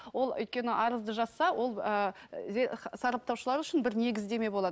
ол өйткені арызды жазса ол ы сараптаушылар үшін бір негіздеме болады